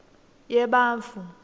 yebantfu